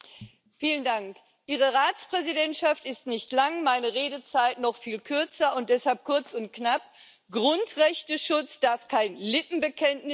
Herr Präsident! Ihre Ratspräsidentschaft ist nicht lang, meine Redezeit noch viel kürzer, und deshalb kurz und knapp Grundrechteschutz darf kein Lippenbekenntnis sein.